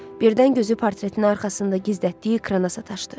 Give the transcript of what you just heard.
Birdən gözü portretin arxasında gizlətdiyi ekrana sataşdı.